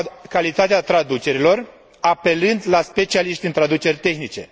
calitatea traducerilor, apelând la specialiști în traduceri tehnice.